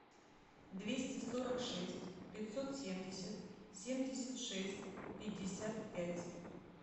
двести сорок шесть пятьсот семьдесят семьдесят шесть пятьдесят пять